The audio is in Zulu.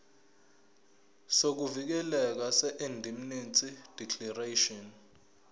sokuvikeleka seindemnity declaration